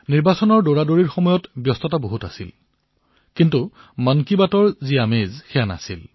নিৰ্বাচনী ব্যস্ততা যদিও বহু আছিল মন কী বাতৰ যি মজা সেয়া নাছিল